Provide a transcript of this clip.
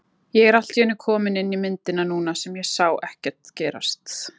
Ég er allt í einu kominn inn í myndina núna sem ég sá ekkert gerast.